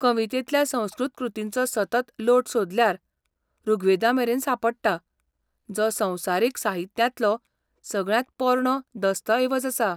कवितेंतल्या संस्कृत कृतींचो सतत लोट सोदल्यार ऋग्वेदामेरेन सांपडटा, जो संवसारीक साहित्यांतलो सगळ्यांत पोरणो दस्तऐवज आसा.